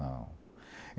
Não.